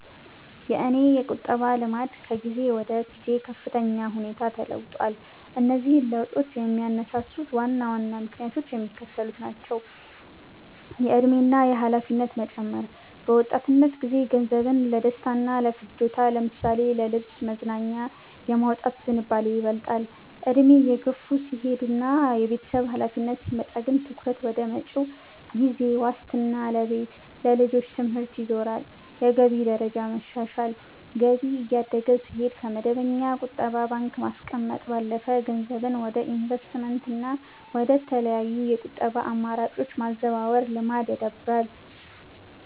የእኔ የቁጠባ ልማድ ከጊዜ ወደ ጊዜ በከፍተኛ ሁኔታ ተለውጧል። እነዚህን ለውጦች የሚያነሳሱት ዋና ዋና ምክንያቶችም የሚከተሉት ናቸው፦ የዕድሜ እና የኃላፊነት መጨመር፦ በወጣትነት ጊዜ ገንዘብን ለደስታና ለፍጆታ ለምሳሌ ለልብስ፣ መዝናኛ የማውጣት ዝንባሌ ይበልጣል፤ ዕድሜ እየገፋ ሲሄድና የቤተሰብ ኃላፊነት ሲመጣ ግን ትኩረት ወደ መጪው ጊዜ ዋስትና ለቤት፣ ለልጆች ትምህርት ይዞራል። የገቢ ደረጃ መሻሻል፦ ገቢ እያደገ ሲሄድ፣ ከመደበኛ ቁጠባ ባንክ ማስቀመጥ ባለፈ ገንዘብን ወደ ኢንቨስትመንትና ወደ ተለያዩ የቁጠባ አማራጮች የማዛወር ልማድ ይዳብራል።